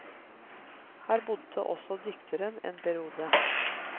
Her bodde også dikteren en periode.